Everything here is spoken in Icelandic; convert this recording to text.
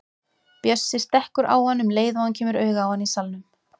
Bjössi stekkur á hann um leið og hann kemur auga á hann í salnum.